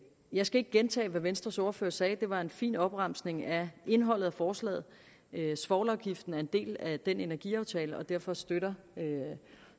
jeg skal ikke gentage hvad venstres ordfører sagde det var en fin opremsning af indholdet af forslaget svovlafgiften en del af den energiaftale og derfor støtter